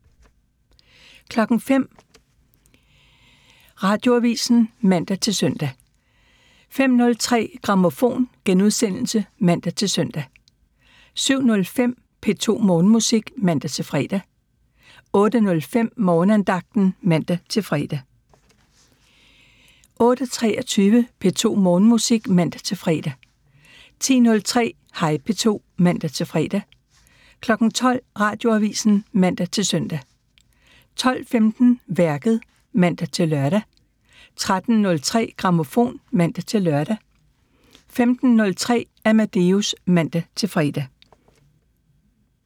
05:00: Radioavisen (man-søn) 05:03: Grammofon *(man-søn) 07:05: P2 Morgenmusik (man-fre) 08:05: Morgenandagten (man-fre) 08:23: P2 Morgenmusik (man-fre) 10:03: Hej P2 (man-fre) 12:00: Radioavisen (man-søn) 12:15: Værket (man-lør) 13:03: Grammofon (man-lør) 15:03: Amadeus (man-fre)